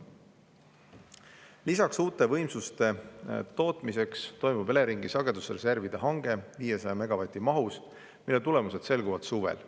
Lisaks toimub uute võimsuste saamiseks Eleringi sagedusreservide hange 500 megavati mahus, mille tulemused selguvad suvel.